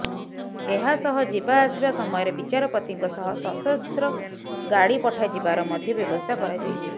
ଏହା ସହ ଯିବା ଆସିବା ସମୟରେ ବିଚାରପତିଙ୍କ ସହ ସଶସ୍ତ୍ର ଗାଡି ପଠାଯିବାର ମଧ୍ୟ ବ୍ୟବସ୍ଥା କରାଯାଇଛି